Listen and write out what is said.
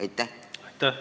Aitäh!